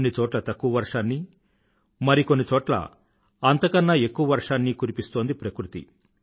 కొన్ని చోట్ల తక్కువ వర్షాన్నీ మరి కొన్న చోట్ల అంతకన్నా ఎక్కువ వర్షాన్నీ కురిపిస్తోంది ప్రకృతి